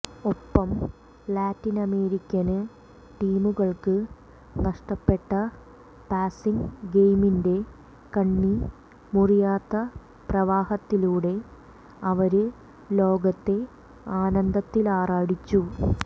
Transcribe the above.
ഒപ്പം ലാറ്റിനമേരിക്കന് ടീമുകള്ക്ക് നഷ്ടപ്പെട്ട പാസിംഗ് ഗെയിമിന്റെ കണ്ണി മുറിയാത്ത പ്രവാഹത്തിലൂടെ അവര് ലോകത്തെ ആനന്ദത്തിലാറാടിച്ചു